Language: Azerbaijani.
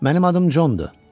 Mənim adım Condur.